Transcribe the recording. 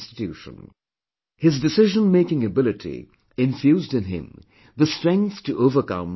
His decision making ability infused in him the strength to overcome all obstacles